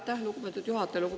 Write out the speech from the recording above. Aitäh, lugupeetud juhataja!